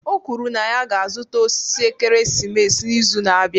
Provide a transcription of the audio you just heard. O kwuru na ya ga-azụta osisi ekeresimesi n'izu na-abịa